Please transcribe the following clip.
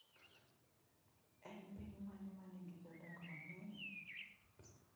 En piny mane ma nigi jodak mang’eny?